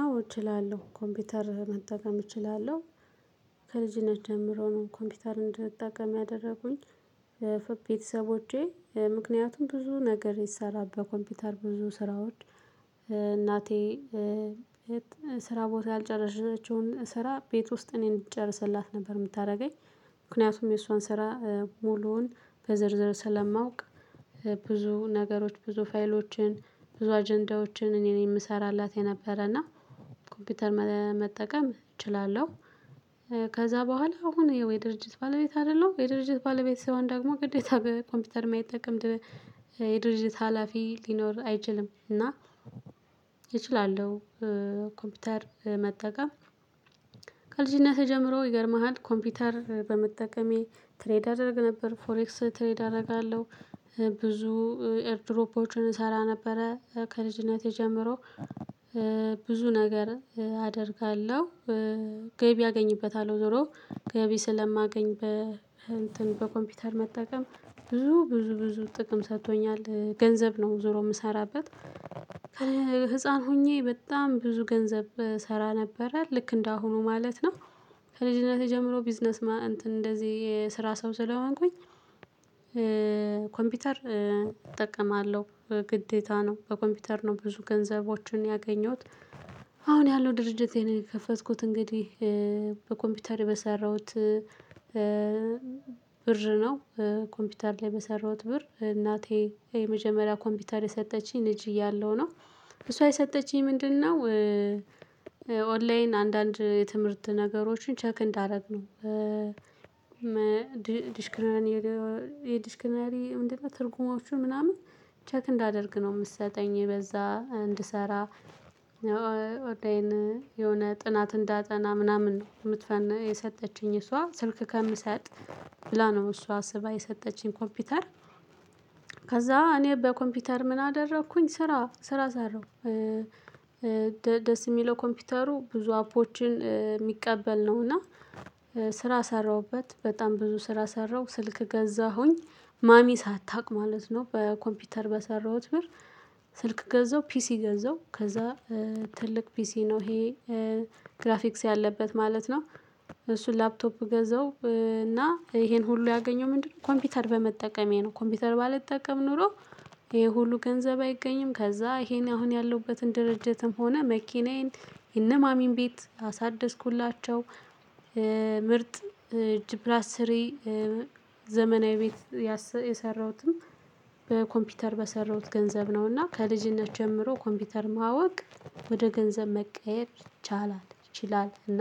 አዎ እችላለሁ ኮምፒውተር መጠቀም እችላለሁ። ከልጅነት ጀምሮ ነው ኮምፒውተር እንደምትጠቀም ያደረጉኝ። ፎ ቤተሰቦቼ ምክንያቱም ብዙ ነገር የሰራበት ኮምፒውተር ብዙ ስራዎች። እናቴ ስራ ቦታ ያልጨረሰችውን ስራ ቤት ውስጥ እኔን እንድጨርስላት ነበር የምታደርገኝ። ምክንያቱም የሷን ስራ ሙሉውን በዝርዝር ስለማውቅ። ብዙ ነገሮች ብዙ ፋይሎችን ብዙ አጀንዳዎችን እኔ ነኝ የምሰራላት የነበረና። ኮምፒውተር መጠቀም እችላለሁ። ከዛ በኋላ አሁን የወይ ድርጅት ባለቤት አይደለም የድርጅት ባለቤት ሰውን ደግሞ ግዴታ በኮምፒውተር ማይጠቀ ድ የድርጅት ሀላፊ ሊኖር አይችልም። እና እችላለሁ። ኮምፒውተር መጠቀም ከልጅነቴ ጀምሮ ይገርምሃል ኮምፒውተር በመጠቀሜ ትሬድ አደርግ ነበር ፎሬክስ ትሬድ አደርጋለሁ። ብዙ ኤርድሮፖችን እሰራ ነበረ ከልጅነቴ ጀምሮ። ብዙ ነገር አደርጋለሁ። ገቢ አገኝበታለሁ ዞሮ ገቢ ስለማገኝ በ እንትን በኮምፒውተር መጠቀም ብዙ ብዙ ብዙ ጥቅም ሰጥቶኛል ገንዘብ ነው ዞሮ የምሰራበት። ህፃን ሆኜ በጣም ብዙ ገንዘብ እሰራ ነበረ ልክ እንደ አሁኑ ማለት ነው። ከልጅነቴ ጀምሮ ቢዝነስ እንትን እንደዚህ የስራ ሰው ስለሆንኩኝ። ኮምፒውተር እጠቀማለሁ። ግዴታ ነው በኮምፒውተር ነው ብዙ ገንዘቦችን ያገኘሁት። አሁን ያለው ድርጅቴን የከፈትኩት እንግዲህ በኮምፒውተር በሰራሁት ብር ነው። ኮምፒውተር ላይ በሰራሁት ብር እናቴ የመጀመሪያ ኮምፒውተር የሰጠችኝን ልጅ እያለሁ ነው። እሷ የሰጠችኝ ምንድነው? ኦንላይን አንዳንድ የትምህርት ነገሮችን ቸክ እንዳደርግ ነው። ዲሽክረን የዲሽክረን እንዴት እና ትርጉሞቹ ምናምን ቼክ እንዳደርግ ነው የምትሰጠኝ በዛ እንድሰራ። በቃ ይሄን የሆነ ጥናት እንዳጠና ምናምን የምትፈን የሰጠችኝ እሷ ስልክ ከምሰጥ ብላ ነው እሷ አስባ የሰጠችኝ ኮምፒውተር። ከዛ እኔ በኮምፒውተር ምን አደረኩኝ ስራ ስራ ሳረው። ደስ የሚለው ኮምፒውተሩ ብዙ አፖችን የሚቀበል ነው። እና ስራ ሰራሁበት በጣም ብዙ ስራ ሰራሁ ስልክ ገዛሁኝ ማሚ ሳታውቅ ማለት ነው በኮምፒውተር በሰራሁት ብር። ስልክ ገዛው ፒሲ ገዛው ከዛ ትልቅ ፒሲ ነው ይሄ። ግራፊክስ ያለበት ማለት ነው እሱን ላፕቶፕ ገዘው እና ይሄን ሁሉ ያገኘው ምንድነው? ኮምፒውተር በመጠቀሜ ነው። ኮምፒውተር ባልጠቀም ኖሮ ይሄ ሁሉ ገንዘብ አይገኝም ከዛ ይሄን አሁን ያለሁበትን ድርጅትም ሆነ መኪናዬን የነ ማሚን ቤት አሳደስኩላቸው። ምርጥ ጅ ፕላስ ስሪ ዘመናዊ ቤት የሰራሁትም በኮምፒውተር በሰራሁት ገንዘብ ነው። እና ከልጅነት ጀምሮ ኮምፒውተር ማወቅ ወደ ገንዘብ መቀየር ቻላል ይችላል። እና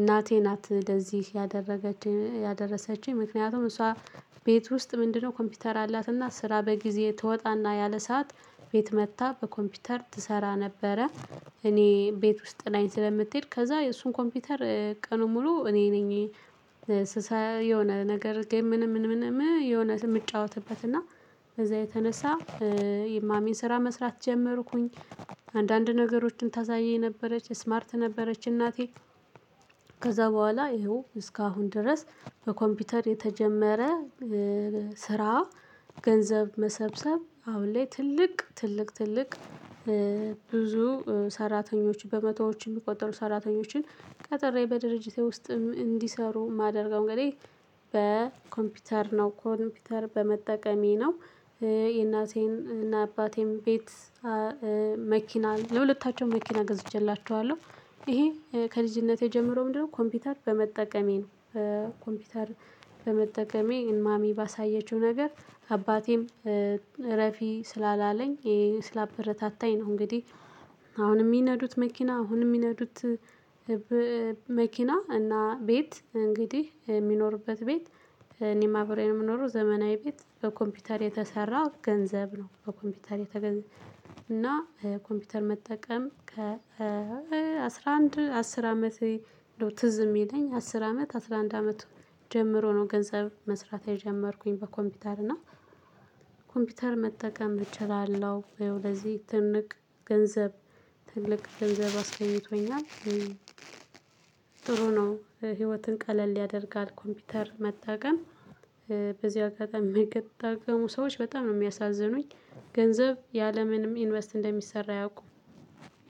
እናቴ ናት እንደዚህ ያደረገችኝ ያደረሰችኝ ምክንያቱም እሷ ቤት ውስጥ ምንድነው ኮምፒውተር አላትና ስራ በጊዜ ትወጣና ያለ ሰዓት ቤት መጥታ በኮምፒውተር ትሰራ ነበረ። እኔ ቤት ውስጥ ጥላይ ስለምትሄድ ከዛ እሱን ኮምፒውተር ቀኑን ሙሉ እኔ ነኝ። የሆነ ነገር ጌም ምንም ምንም ምንም የሆነ የምጫወትበት እና በዛ የተነሳ የማሚን ስራ መስራት ጀመርኩኝ። አንዳንድ ነገሮችን ታሳየኝ የነበረች ስማርት ነበረች እናቴ። ከዛ በኋላ ይኸው እስካሁን ድረስ በኮምፒውተር የተጀመረ ስራ ገንዘብ መሰብሰብ አሁን ላይ ትልቅ ትልቅ ትልቅ ብዙ ሰራተኞችን በመቶዎች የሚቆጠሩ ሰራተኞችን ቀጥሬ በድርጅቴ ውስጥም እንዲሰሩ የማደርገው እንግዲህ በኮምፒውተር ነው ኮምፒውተር በመጠቀሜ ነው። የእናቴን እና አባቴም ቤት መኪና ለሁለታቸውም መኪና ገዝቼላችኋለሁ። ይሄ ከልጅነቴ ጀምሮ ምንድነው ኮምፒውተር በመጠቀሜ ነው። ኮምፒውተር በመጠቀሜ ማሚ ባሳየችው ነገር አባቴም እረፊ ስላላለኝ ስላበረታታኝ ነው። እንግዲህ አሁን የሚነዱት መኪና አሁን የሚነዱት መኪና እና ቤት እንግዲህ የሚኖርበት ቤት። እኔም አብሬ ነው የምኖረው ዘመናዊ ቤት በኮምፒውተር የተሰራ ገንዘብ ነው። በኮምፒውተር የተገንዘብ እና ኮምፒውተር መጠቀም ከ አስራ አንድ አስር አመት ትዝ የሚለኝ አስር አመት አስራ አንድ አመት ጀምሮ ነው ገንዘብ መስራት የጀመርኩኝ በኮምፒውተር እና ኮምፒውተር መጠቀም እችላለሁ ይሄው ለዚህ ትልቅ ገንዘብ ትልቅ ገንዘብ አስገኝቶኛል። ጥሩ ነው ህይወትን ቀለል ያደርጋል ኮምፒውተር መጠቀም። በዚህ አጋጣሚ የምትጠቀሙ ሰዎች በጣም ነው የሚያሳዝኑኝ። ገንዘብ ያለምንም ኢንቨስት እንደሚሰራ አያውቁ።